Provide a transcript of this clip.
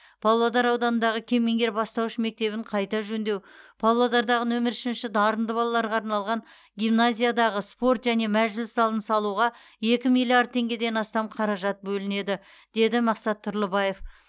павлодар ауданындағы кемеңгер бастауыш мектебін қайта жөндеу павлодардағы нөмір үшінші дарынды балаларға арналған гимназиядағы спорт және мәжіліс залын салуға екі миллиард теңгеден астам қаражат бөлінеді деді мақсат тұрлыбаев